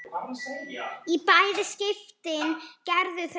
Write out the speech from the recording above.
Í bæði skiptin gerðu þau það.